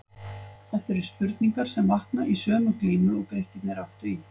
Þetta eru spurningar sem vakna í sömu glímu og Grikkirnir áttu í.